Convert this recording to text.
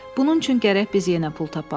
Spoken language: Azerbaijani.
Bunun üçün gərək biz yenə pul tapaq.